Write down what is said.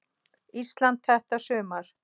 Íslandi þetta sumar.